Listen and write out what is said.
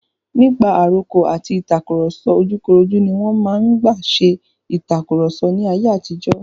Nípa àrokò àti ìtàkurọ̀sọ ojúkorojú ní wọn máa ń gbà ṣe ìtàkurọ̀sọ ní ayé àtijó.